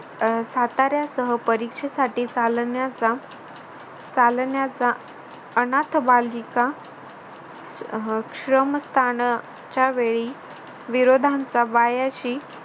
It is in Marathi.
अह साताऱ्या सह परीक्षेसाठी चालण्याचा चालण्याचा अनाथ बालिका श्रमस्तानच्या वेळी विरोधांचा वायाशी